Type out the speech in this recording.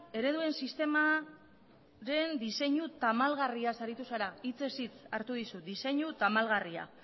ereduen sistemaren deseinu tamalgarria saritu zara hitzez hitz hartu dizut deseinu tamalgarria